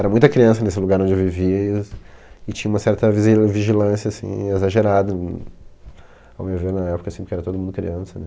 Era muita criança nesse lugar onde eu vivia e as e tinha uma certa visi vigilância, assim, exagerada hm, ao meu ver, na época, assim, porque era todo mundo criança, né?